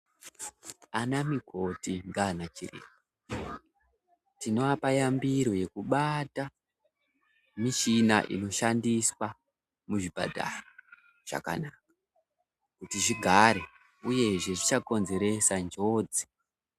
Ana mikoti ngana chiremba tinoapa yambiro yekubaata mishina inoshandiswa muzvipatara zvakanaka kuti zvigare uyezve zvisakonzeresa njodzi.